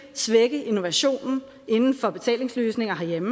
svække innovationen inden for betalingsløsninger herhjemme